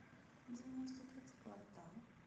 девяносто пятый квартал